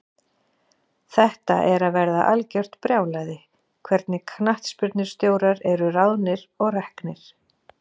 Þetta er að verða algjört brjálæði, hvernig knattspyrnustjórar eru ráðnir og reknir.